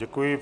Děkuji.